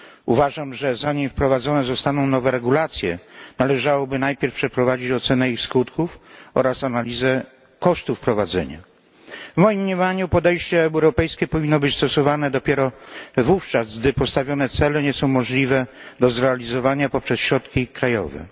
Uważam, że zanim wprowadzone zostaną nowe regulacje, należałoby najpierw przeprowadzić ocenę ich skutków oraz analizę kosztów wprowadzenia. W moim mniemaniu podejście europejskie powinno być stosowane dopiero wówczas, gdy postawione cele nie są możliwe do zrealizowania przy wykorzystaniu środków krajowych.